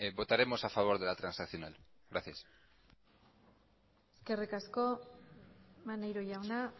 votaremos a favor de la transaccional gracias eskerrik asko maneiro jauna